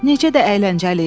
Necə də əyləncəli idi!